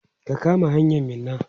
ka kama hanyan Minna!